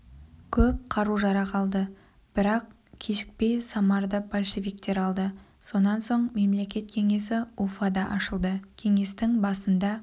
көп қару-жарақ алды бірақ кешікпей самарды большевиктер алды сонан соң мемлекет кеңесі уфада ашылды кеңестің басында